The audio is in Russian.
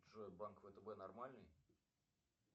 джой банк втб нормальный